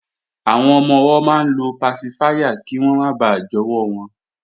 Àwọn ọmọ-ọwọ́ máa ń lo pasifáyà kí wọ́n máa bà jọwọ́ wọn